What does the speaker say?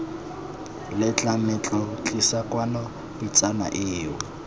letlametlo tlisa kwano pitsana eo